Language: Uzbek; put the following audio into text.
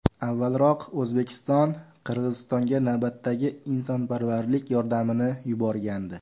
Avvalroq O‘zbekiston Qirg‘izistonga navbatdagi insonparvarlik yordamini yuborgandi .